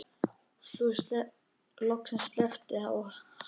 Þá loksins sleppti hann henni.